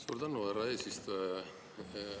Suur tänu, härra eesistuja!